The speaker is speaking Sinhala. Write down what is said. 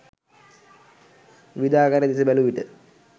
විවිධ ආකාරය දෙස බැලූ විට